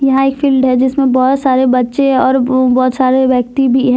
यहां एक फील्ड है जिसमे बहोत सारे बच्चे और बहोत सारे व्यक्ति भी हैं।